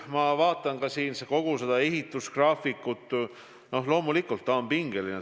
Ma vaatan kogu seda ehitusgraafikut – loomulikult on see pingeline.